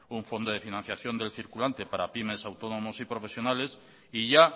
un fondo de financiación del circulante para pymes autónomos y profesionales y ya